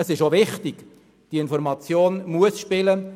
Es ist auch wichtig, dass diese Information spielt.